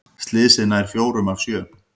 Slysið nær fjórum af sjö